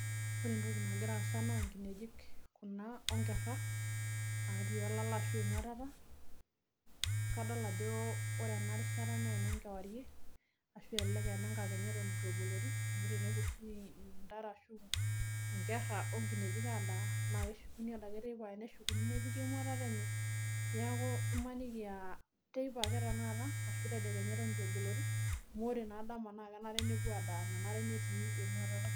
ore entoki nagira aasa naa nkineji kuna ashu nkerera naa kajo teipa ake ashu tenekenya egirae aaramat amu kepuo oshi aadaa neshukunye ade teipa neponu emuatata enye